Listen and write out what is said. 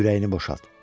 ürəyini boşalt.